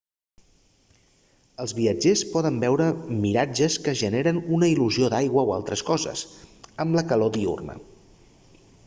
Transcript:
els viatgers poden veure miratges que generen una il·lusió d'aigua o altres coses amb la calor diürna